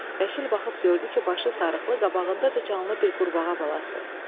Vəkil baxıb gördü ki, başı sarıqlı, qabağında da canlı bir qurbağa balası.